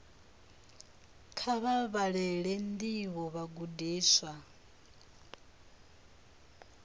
kha vha vhalele ndivho vhagudiswa